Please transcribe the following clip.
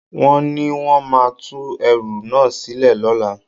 Wọ́n ní wón máa tú ẹrú náà sílẹ̀ lọ́la.